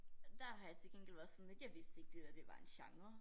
Der har jeg til gengæld været sådan at jeg vidste ikke at det der var en genre